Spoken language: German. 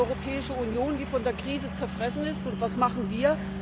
Wir haben eine Europäische Union, die von der Krise zerfressen ist, und was machen wir?